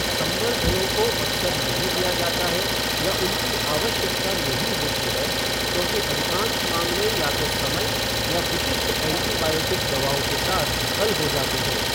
संवर्धनों को अक्सर नहीं लिया जाता है या उनकी आवश्यकता नहीं होती है क्योंकि अधिकांश मामले या तो समय या विशिष्ट एंटीबायोटिक दवाओं के साथ हल हो जाते हैं।